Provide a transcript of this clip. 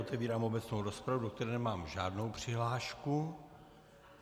Otevírám obecnou rozpravu, do které nemám žádnou přihlášku.